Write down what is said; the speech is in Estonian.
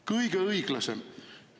Kõige õiglasem!